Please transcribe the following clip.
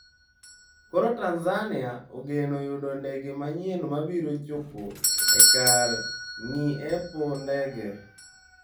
Koro Tanzania ogeno yudo ndege manyien mabiro chopo e kar ng'iepo ndege.